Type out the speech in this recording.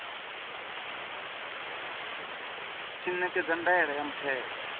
tshi ṋekedza ndaela ya muthelo